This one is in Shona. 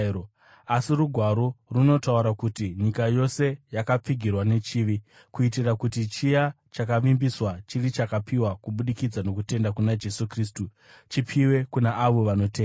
Asi Rugwaro runotaura kuti nyika yose yakapfigirwa nechivi, kuitira kuti chiya chakavimbiswa, chiri chakapiwa kubudikidza nokutenda kuna Jesu Kristu, chipiwe kuna avo vanotenda.